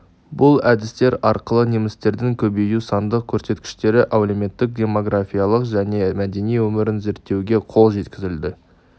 бұл әдістер арқылы немістердің көбеюі сандық көрсеткіштері әлеуметтік-демографиялық және мәдени өмірін зерттеуге қол жеткізілді